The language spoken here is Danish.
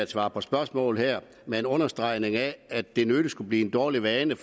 at svare på spørgsmål her med en understregning af at det nødig skulle blive en dårlig vane